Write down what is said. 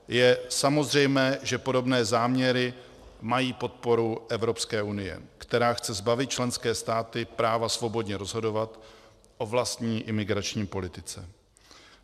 Je samozřejmé, že podobné záměry mají podporu Evropské unie, která chce zbavit členské státy práva svobodně rozhodovat o vlastní imigrační politice.